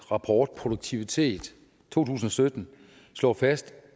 rapport produktivitet to tusind og sytten slår fast